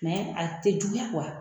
a te juguya